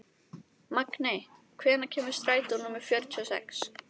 Magney, hvenær kemur strætó númer fjörutíu og sex?